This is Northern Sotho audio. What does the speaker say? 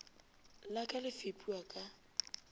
la ka le fepiwa ka